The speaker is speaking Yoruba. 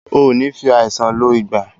O nì fi àìsàn lọ̀ ìgbà